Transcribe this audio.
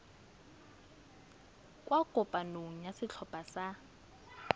kwa kopanong ya setlhopha sa